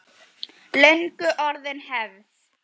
Löngu orðin hefð.